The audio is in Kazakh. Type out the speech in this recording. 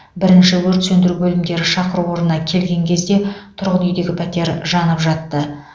бірінші өрт сөндіру бөлімдері шақыру орнына келген кезде тұрғын үйдегі пәтер жанып жатты